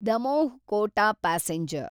Damoh Kota passenger